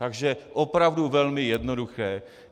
Takže opravdu velmi jednoduché.